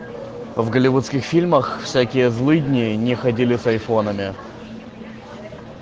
в голливудских фильмах всякие злыдни не ходили с айфонами